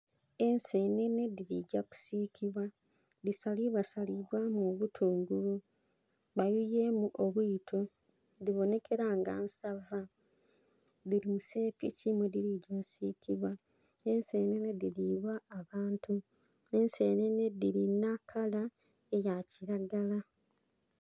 Ensenene dhili gya kusiikibwa. Dhisalibwa salibwamu obutungulu. Bayuyeemu obwito, dhibonhekela nga nsava. Dhili mu sepiki mwe dhili gya osiikibwa. Ensenene dhiliibwa abantu. Ensenene dhilina kala eya kilagala.